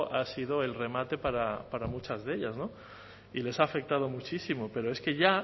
ha sido el remate para muchas de ellas y les ha afectado muchísimo pero es que ya